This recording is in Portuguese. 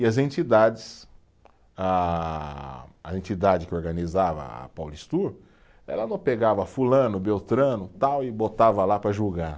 E as entidades, a a entidade que organizava a Paulistur, ela não pegava fulano, beltrano, tal, e botava lá para julgar.